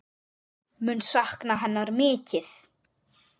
Mun sakna hennar mikið.